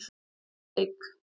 Það fer allt í steik.